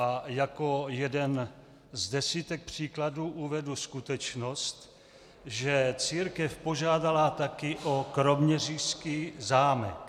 A jako jeden z desítek příkladů uvedu skutečnost, že církev požádala také o kroměřížský zámek.